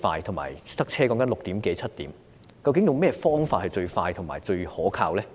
當時6點多7點會塞車，究竟用何種方法是最快和最可靠？